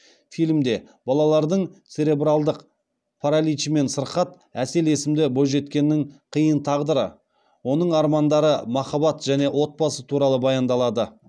фильмде балалардың церебралдық параличімен сырқат әсел есімді бойжеткеннің қиын тағдыры оның армандары махаббат және отбасы туралы баяндалады